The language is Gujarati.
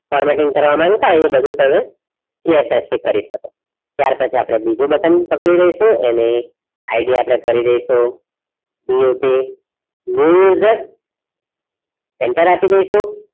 formating કરવામાં એવું બધુ થાય એ તમે CSS થી કરી શકો ત્યારપછી આપડે બીજું button પકડી લઈશું ને ID આપડે કરી દઇશું CSSnew user enter આપી દઇશું.